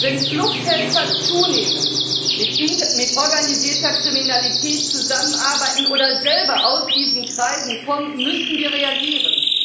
Wenn Fluchthelfer zunehmend mit organisierter Kriminalität zusammenarbeiten oder selber aus diesen Kreisen kommen, müssen wir reagieren.